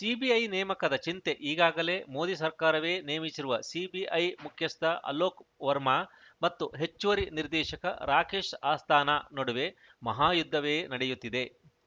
CBI ನೇಮಕದ ಚಿಂತೆ ಈಗಾಗಲೇ ಮೋದಿ ಸರ್ಕಾರವೇ ನೇಮಿಸಿರುವ ಸಿಬಿಐ ಮುಖ್ಯಸ್ಥ ಅಲೋಕ್‌ ವರ್ಮಾ ಮತ್ತು ಹೆಚ್ಚುವರಿ ನಿರ್ದೇಶಕ ರಾಕೇಶ್‌ ಅಸ್ಥಾನಾ ನಡುವೆ ಮಹಾಯುದ್ಧವೇ ನಡೆಯುತ್ತಿದೆ